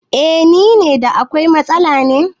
Eh nine, da akwai matsala ne?